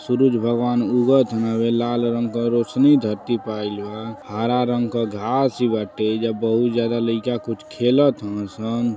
सुरुज भगवान उगत हवे। लाल रंग के रोशनी धरती प आइल बा। हरा रंग क घास भी बाटे एजा बहुत जगह लइका कुछ खेलत हव सन।